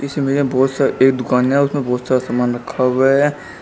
इस इमेज में बहोत सा एक दुकान है और उसमें बहोत सारा सामान रखा हुआ है।